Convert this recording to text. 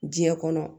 Diɲɛ kɔnɔ